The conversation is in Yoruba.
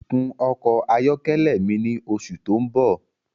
Kun ọkọ ayọkẹlẹ mi ni oṣù tó ń bọ̀